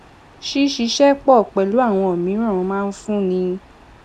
ṣíṣiṣẹ pò pèlú àwọn míràn máa ń fúnni